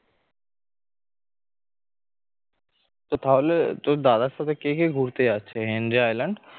তো তাহলে তো দাদার সাথে কে কে ঘুরতে যাচ্ছে হেনরি আইল্যান্ড